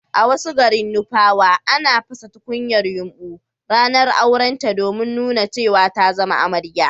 a wasu garin nupawa, ana pasa tunkuyar yumbu ranar aurenta domin nuna cewa ta zama amarya